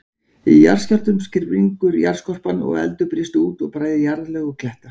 Í jarðskjálftum springur jarðskorpan, og eldur brýst út og bræðir jarðlög og kletta.